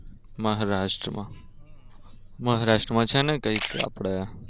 મહારાષ્ટ્રમાં મહારાષ્ટ્રમાં છે ને કઈક આપડે